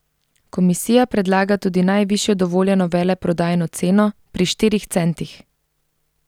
Komisija predlaga tudi najvišjo dovoljeno veleprodajno ceno pri štirih centih.